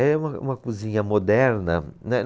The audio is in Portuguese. É uma, uma cozinha moderna, né.